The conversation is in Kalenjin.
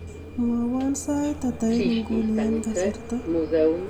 mwowon sait ata en inguni en kasarta